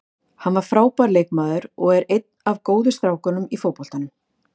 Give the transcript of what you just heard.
Hann var frábær leikmaður og er einn af góðu strákunum í fótboltanum.